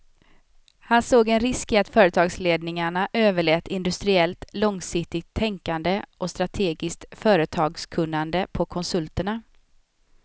Han såg en risk i att företagsledningarna överlät industriellt långsiktigt tänkande och strategiskt företagskunnande på konsulterna.